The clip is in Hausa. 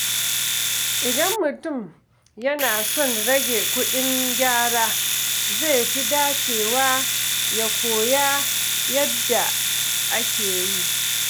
Idan mutum yana son rage kuɗin gyara, zai fi dacewa ya koya yadda ake yi.